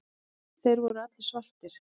Þeir voru allir svartir.